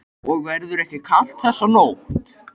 Og verður ekki kalt þessa nótt.